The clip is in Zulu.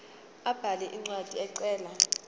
abhale incwadi ecela